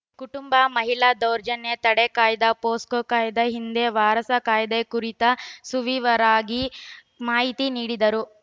ಕುಟುಂಬ ಮಹಿಳಾ ದೌರ್ಜನ್ಯ ತಡೆ ಕಾಯ್ದೆ ಪೋಸ್ಕೋ ಕಾಯ್ದೆ ಹಿಂದೆ ವಾರಸಾ ಕಾಯ್ದೆ ಕುರಿತು ಸುವಿವರವಾಗಿ ಮಾಹಿತಿ ನೀಡಿದರು